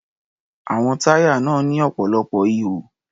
Àwọn táyà náà ní ọ̀pọ̀lọpọ̀ ihò.